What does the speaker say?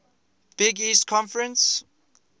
big east conference